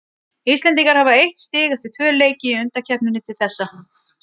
Íslendingar hafa eitt stig eftir tvö leiki í undankeppninni til þessa.